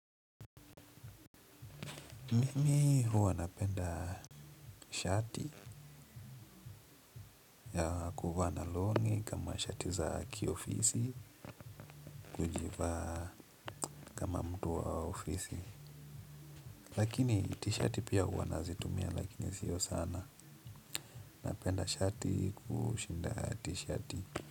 Mimi huwa napenda shati ya kuvaa na long'i kama shati za kiofisi nilivaa kama mtu wa ofisi lakini t-shirt pia huwa nazitumia lakini siyo sana napenda shati kushinda t-shirt.